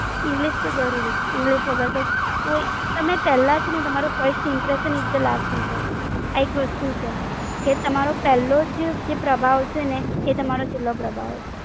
English તો જરૂરી છે, English વગર તો કોઈ, તમે પેલા છેને તમારું first Impression Is The Last Impression, આ એક વસ્તુ છે, જે તમારો પેલ્લો જ જે પ્રભાવ છે ને એ તમારો છેલો પ્રભાવ.